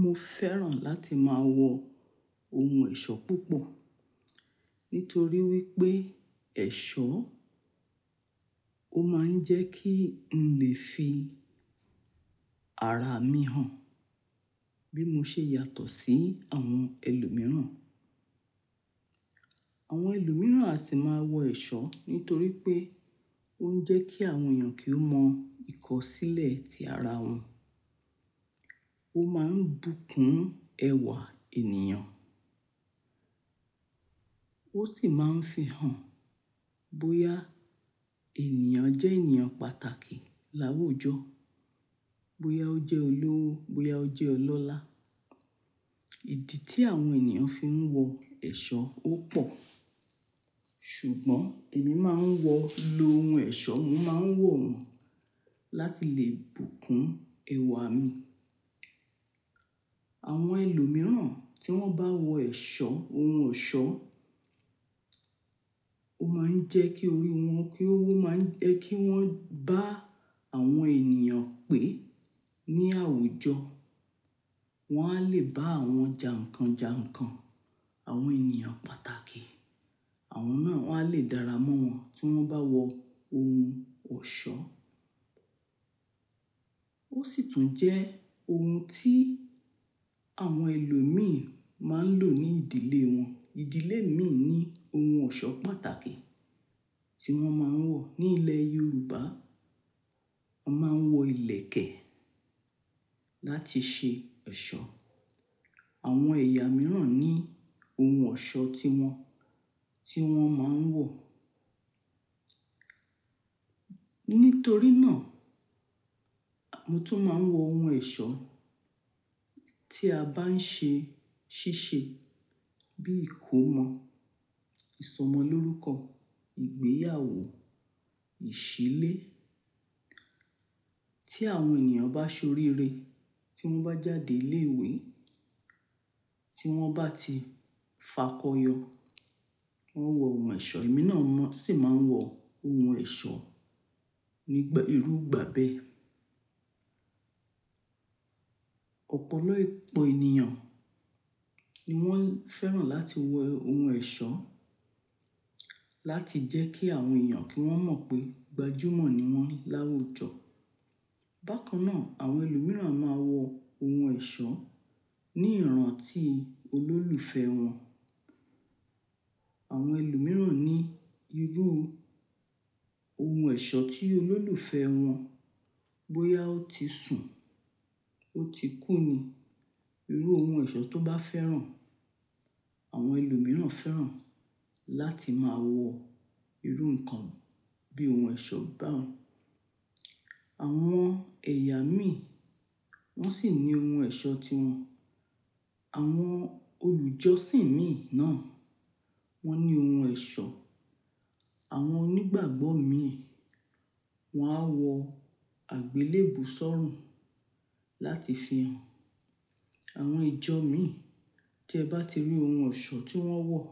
Mo fẹ́ràn láti máa wọ ohun ẹ̀ṣọ́ púpọ̀ nítorí wípé ẹ̀ṣọ́ ó máa ń jẹ́ kí n lè fi ara mi hàn bí mo ṣe yàtọ̀ sí àwọn ẹlòmíràn. Àwọn ẹlòmíràn a sì máa wọ ẹ̀ṣọ́ nítorí pé ó ń jẹ́ kí àwọn èèyàn kí ó mọ ìkọ̀sílẹ̀ tí ara wọn. Ó máa ń bùkún ẹwà ènìyàn. Ó sì máa ń fi hàn bóyá ènìyàn jẹ́ ènìyàn pàtàkì láwùjọ, bóyá ó jẹ́ olówó, bóyá ó jẹ́ ọlọ́lá. Ìdí tí àwọn ènìyàn fi ń wọ ẹ̀ṣọ́ ó pọ̀. Ṣùgbọ́n èmi máa ń wọ lo ohun ẹ̀ṣọ́, mo máa ń wọ̀ wọ́n láti lè bùkún ẹwà mi. Àwọn ẹlòmíràn tí wọ́n bá wọ ẹ̀ṣọ́, ohun ọ̀ṣọ́, ó máa ń jẹ́ kí orí wọn kí ó wọ́ máa ń jẹ́ kí wọ́n bá àwọn ènìyàn pè ní àwùjọ. Wọ́n a lè bá awọn jà nǹkan jà nǹkan, àwọn ènìyàn pàtàkì. Àwọn náà a lè dára mọ́ wọn tí wọ́n bá wọ ohun ọ̀ṣọ́. Ó sì tún jẹ́ ohun tí àwọn ẹlòmíràn máa ń lò ní ìdílé wọn. Ìdílé mi ní ohun ọ̀ṣọ́ pàtàkì tí wọ́n máa ń wọ. Ní ilẹ̀ Yorùbá, a máa ń wọ ìlẹ̀kẹ̀ láti ṣe ẹ̀ṣọ́. Àwọn ẹ̀yà mìíràn ní ohun ọ̀ṣọ́ tí wọn, tí wọ́n máa ń wọ̀. Nítorí náà, mo tún máa ń wọ ohun ẹ̀ṣọ́ tí a bá ń ṣe ṣíṣe bí ìkómọ, ìsọmọlórúkọ, ìgbéyàwó, ìṣílé. Tí àwọn ènìyàn bá ṣe oríire, tí wọ́n bá jáde ilé ìwé, tí wọ́n bá ti fakọyọ, wọ́n ń wọ ohun ẹ̀ṣọ́. Èmi náà mọ́ sì máa ń wọ ohun ẹ̀ṣọ́ nígbà, irú ìgbà bẹ́ẹ̀. Ọ̀pọ̀lọpọ̀ ènìyàn ni wọ́n fẹ́ràn láti wọ ohun ẹ̀ṣọ́ láti jẹ́ kí àwọn èèyàn kí wọ́n mọ̀ pé gbajúmọ̀ ni wọ́n láwùjọ. Bákan náà, àwọn ẹlòmíràn máa ń wọ ohun ẹ̀ṣọ́ ní ìran tí olólùfẹ́ wọn. Àwọn ẹlòmíràn ní irú ohun ẹ̀ṣọ́ tí olólùfẹ́ wọn, bóyá ó ti sun, ó ti kú ni. Irú ohun ẹ̀ṣọ́ tó bá fẹ́ràn. Àwọn ẹlòmíràn fẹ́ràn láti máa wọ irú nǹkan bí ohun ẹ̀ṣọ́ bá wọn. Àwọn ẹ̀yà mi wọ́n sì ní ohun ẹ̀ṣọ́ tiwọn. Àwọn olùjọ́sìn mi náà wọ́n ní ohun ẹ̀ṣọ́. Àwọn onígbàgbọ́ mi wọ́n á wọ àgbélébù sọ́rùn láti fi hàn. Àwọn ìjọ mi tí ẹ bá ti rí ohun ọ̀ṣọ́ tí wọ́n wọ̀,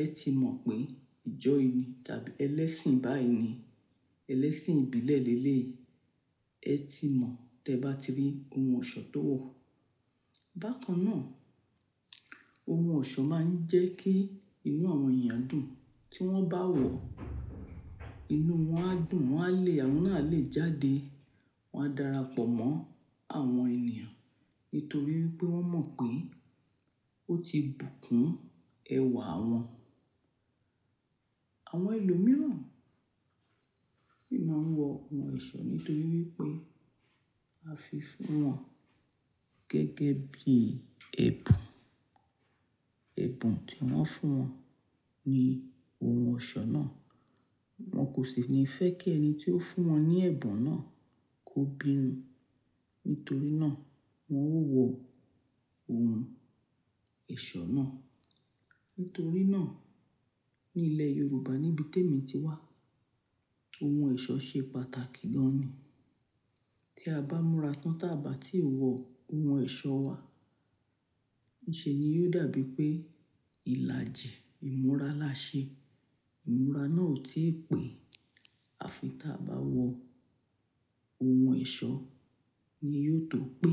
ẹ ti mọ̀ pé ìjọ yìí tàbí ẹlẹ́sìn báyìí ni. Ẹlẹ́sìn ìbílẹ̀ lelé yi ẹ ti mọ̀ tẹ bá ti rí ohun ọ̀ṣọ́ tó wọ̀. Bákan náà, ohun ọ̀ṣọ́ máa ń jẹ́ kí inú àwọn èèyàn dùn. Tí wọ́n bá wọ̀, inú wọn á dùn, wọn á le, àwọn ná àlè jáde, wọn á dara pọ̀ mọ́ àwọn ènìyàn nítorí wípé wọ́n mọ̀ pé ó ti bùkún ẹwà wọn. Àwọn ẹlòmíràn sì máa ń wọ ohun ẹ̀ṣọ́ nítorí wípé a fi fún wọn gẹ́gẹ́ bí ẹ̀bùn. Ẹ̀bùn tí wọ́n fún wọn ni ohun ọ̀ṣọ́ náà. Wọn kò sì ní fẹ́ kí ẹni tí ó fún wọn ní ẹ̀bùn náà kó bínú. Nítorí náà, wọn ó wọ ohun ẹ̀ṣọ́ náà. Nítorí náà, ní ilẹ̀ Yorùbá níbi tí èmi ti wá, ohun ẹ̀ṣọ́ ṣe pàtàkì gan ni. Tí a bá múra tán tàba tí wọ ohun ẹ̀ṣọ́ wa, níṣe ni yóò dàbí pé ìlàjì ìmúra la ṣe. Ìmúra náà ò tíì pẹ́. Àfi ta bá wọ ohun ẹ̀ṣọ́ ni yóò tó pé.